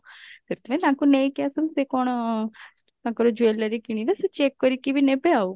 ସେଥିପାଇଁ ତାଙ୍କୁ ନେଇକି ଆସନ୍ତୁ ସେ କଣ ତାଙ୍କର jewellery କିଣିବେ ସେ check କରିକି ବି ନେବେ ଆଉ